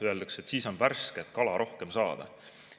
Öeldakse, et siis on värsket kala rohkem saada.